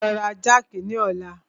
Máa lọ ra jákì ni ọ̀la.